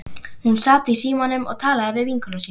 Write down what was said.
Hún sat í símanum og talaði við vinkonu sína.